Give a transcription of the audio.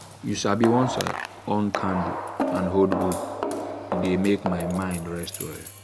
you sabi once i on candle and hold book e dey make my mind rest well.